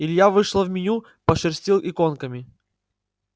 илья вышел в меню пошерстил иконками